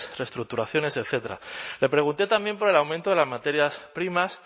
reestructuraciones etcétera le pregunté también por el aumento de las materias primas